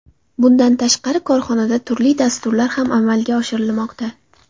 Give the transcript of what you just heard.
Bundan tashqari, korxonada turli dasturlar ham amalga oshirilmoqda.